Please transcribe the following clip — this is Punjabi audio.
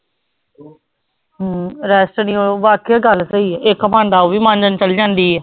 ਹਮ rest ਨੀ ਉਹ ਵਾਕਈ ਗੱਲ ਸਹੀ ਹੈ ਇੱਕ ਖਾਂਦਾ ਉਹ ਵੀ ਮਾਂਜਣ ਚਲੇ ਜਾਂਦੀ ਹੈ।